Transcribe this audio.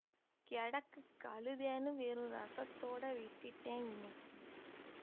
கெடக்குக் களுதைன்னு வெறும் ரஸத்தோட விட்டுட்டேன் இன்னக்கி